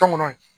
Tɔŋɔnɔ